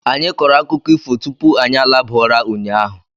Anyị kọrọ akụkọ ifo tupu anyị alaba ụra ụnyaahụ.